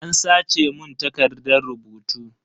An sace mun takardan rubutu.